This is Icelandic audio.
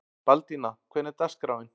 Baldína, hvernig er dagskráin?